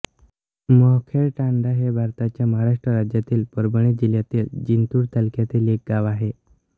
मोहखेड तांडा हे भारताच्या महाराष्ट्र राज्यातील परभणी जिल्ह्यातील जिंतूर तालुक्यातील एक गाव आहे